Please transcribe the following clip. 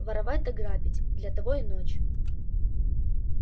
воровать да грабить для того и ночь